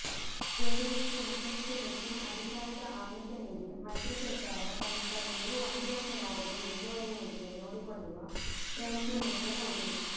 ಜೆಡಿಎಸ್ಗೆ ಮತ್ತಷ್ಟುಹೆಚ್ಚಿನ ಅಧಿಕಾರದ ಆಮಿಷ ನೀಡಿ ಮೈತ್ರಿ ಸರ್ಕಾರ ಕನಿಷ್ಠ ಇನ್ನೂ ಒಂದು ವರ್ಷವಾದರೂ ಮುಂದುವರೆಯುವಂತೆ ನೋಡಿಕೊಳ್ಳುವ ಪ್ರಯತ್ನ ನಡೆಸಬಹುದು